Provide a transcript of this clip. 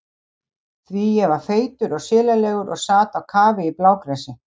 Því ég var feitur og silalegur og sat á kafi í blágresi.